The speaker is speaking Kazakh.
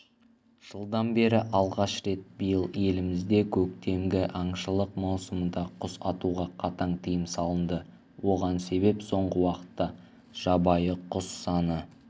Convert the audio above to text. жылдан бері алғаш рет биыл елімізде көктемгі аңшылық маусымында құс атуға қатаң тыйым салынды оған себеп соңғы уақытта жабайы құс саны